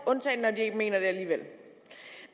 undtagen når de ikke mener det alligevel